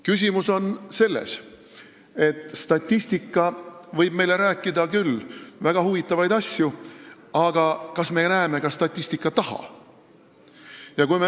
Küsimus on selles, et statistika võib meile rääkida küll väga huvitavaid asju, aga kas me näeme ka statistika taha.